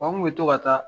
An kun bɛ to ka taa